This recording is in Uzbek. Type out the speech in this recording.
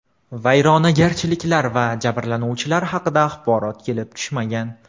Vayronagarchiliklar va jabrlanuvchilar haqida axborot kelib tushmagan.